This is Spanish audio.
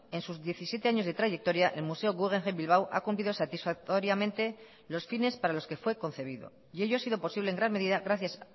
en sus diecisiete años de trayectoria el museo guggenheim bilbao ha cumplido satisfactoriamente los fines para los que fue concebido y ello ha sido posible en gran medida gracias